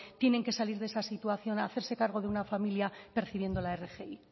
tienen que salir de esa situación hacerse cargo de una familia percibiendo la rgi